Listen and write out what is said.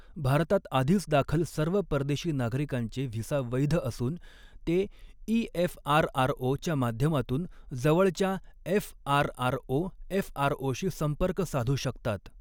भारतात आधीच दाखल सर्व परदेशी नागरिकांचे व्हिसा वैध असून, ते ई एफआरआरओच्या माध्यमातून जवळच्या एफआरआरओ एफआरओशी संपर्क साधू शकतात.